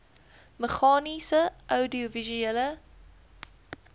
meganies oudiovisuele